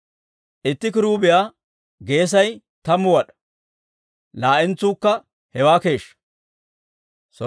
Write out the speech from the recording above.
Itti kiruubiyaa geesay tammu wad'aa; laa"entsuukka hewaa keeshshaa.